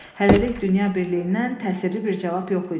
Hələlik dünya birliyindən təsirli bir cavab yox idi.